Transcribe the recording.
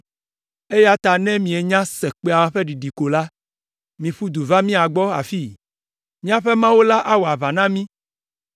eya ta ne mienya se kpẽa ƒe ɖiɖi ko la, miƒu du va mía gbɔ afii. Míaƒe Mawu la awɔ aʋa na mí!”